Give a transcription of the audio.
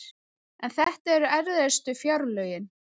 En þetta eru erfiðustu fjárlögin